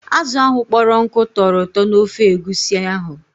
Azụ ahụ kpọrọ nkụ tọrọ ụtọ n'ofe egusi ahụ.